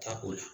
Tako la